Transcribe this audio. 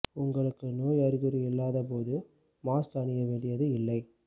உங்களுக்கு நோய் அறிகுறி இல்லாத போது மாஸ்க் அணிய வேண்டியது இல்லை